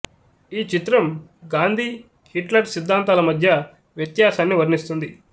ఈ చిత్రం గాంధీ హిట్లర్ సిద్ధాంతాల మధ్య వ్యత్యాసాన్ని వర్ణిస్తుంది